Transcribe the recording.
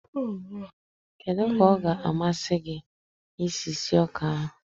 kedu ka ọ ga-amasị gị isi sie ọka ahụ?